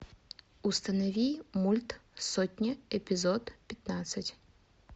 установи мульт сотня эпизод пятнадцать